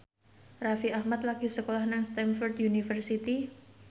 Raffi Ahmad lagi sekolah nang Stamford University